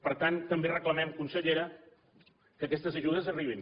per tant també reclamem consellera que aquestes ajudes arribin